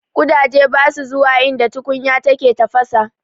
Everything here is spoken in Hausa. Ƙudaje basa zuwa inda tukunya take tafasa.